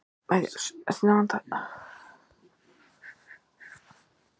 Bíður einhvers staðar á bankabók fé til að ráðast í Sundabraut?